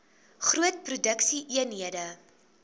groot produksie eenhede